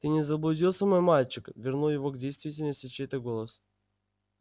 ты не заблудился мой мальчик вернул его к действительности чей-то голос